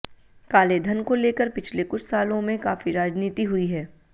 कालेधन को लेकर पिछले कुछ सालों में काफी राजनीति हुई है